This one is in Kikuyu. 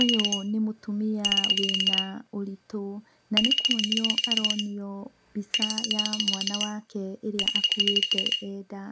Ũyũ nĩ mũtumia wĩna ũritũ, na nĩkuonio aronio mbica ya mwana wake ĩrĩa akuĩte e nda.